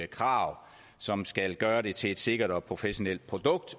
krav som skal gøre det til et sikkert og professionelt produkt